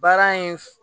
Baara in f